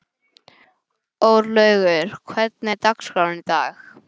Örlaugur, hvernig er dagskráin í dag?